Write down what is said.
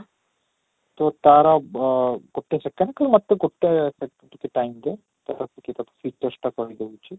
ତ ତା'ର ଅଃ ଗୋଟେ second ଗୋଟେ second ସେତିକି time ରେ ତ ଦେଖି କି ତୋତେ ଚେଷ୍ଟା କରି ଦେଉଛି